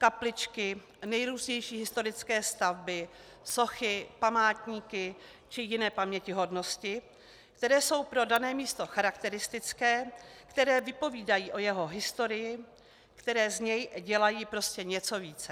Kapličky, nejrůznější historické stavby, sochy, památníky či jiné pamětihodnosti, které jsou pro dané místo charakteristické, které vypovídají o jeho historii, které z něj dělají prostě něco více.